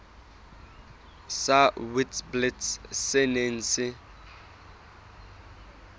sa witblits se neng se